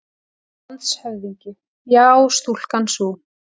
LANDSHÖFÐINGI: Já, stúlkan sú!